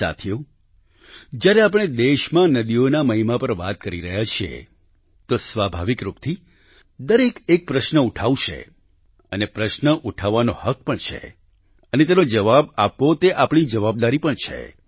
સાથીઓ જ્યારે આપણે દેશમાં નદીઓના મહિમા પર વાત કરી રહ્યા છીએ તો સ્વાભાવિક રૂપથી દરેક એક પ્રશ્ન ઉઠાવશે અને પ્રશ્ન ઉઠાવવાનો હક પણ છે અને તેનો જવાબ આપવો તે આપણી જવાબદારી પણ છે